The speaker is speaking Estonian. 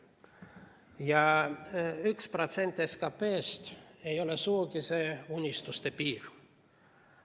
Ja 1% SKP‑st ei ole sugugi see unistuste piir.